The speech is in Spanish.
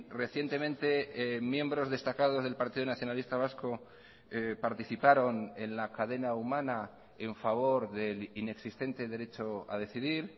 recientemente miembros destacados del partido nacionalista vasco participaron en la cadena humana en favor del inexistente derecho a decidir